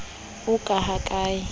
oo ka ha ka le